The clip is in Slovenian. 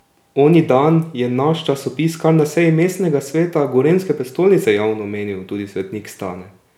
Oni dan je naš časopis kar na seji mestnega sveta gorenjske prestolnice javno omenil tudi svetnik Stane!